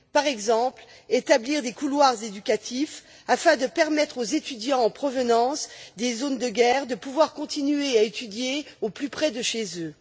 Par exemple, établir des couloirs éducatifs afin de permettre aux étudiants en provenance des zones de guerre de pouvoir continuer à étudier au plus près de chez eux.